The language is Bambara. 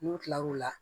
N'u kila l'o la